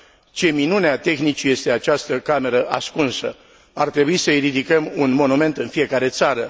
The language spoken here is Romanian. Ce minune a tehnicii este această cameră ascunsă! Ar trebui să i ridicăm un monument în fiecare țară.